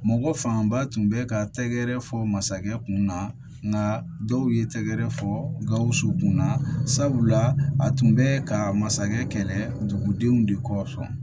Mɔgɔ fanba tun bɛ ka tɛgɛrɛ fɔ masakɛ kunna dɔw ye tɛgɛrɛ fɔ gawusu kun na sabula a tun bɛ ka masakɛ kɛlɛ dugudenw de kɔ sɔn